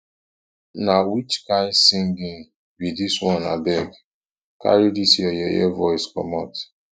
na which kin singing be dis one abeg carry dis your yeye voice comot